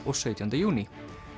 og sautjánda júní